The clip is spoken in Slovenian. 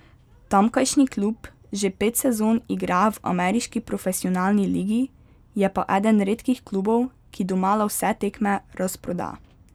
Tamkajšnji klub že pet sezon igra v ameriški profesionalni ligi, je pa eden redkih klubov, ki domala vse tekme razproda.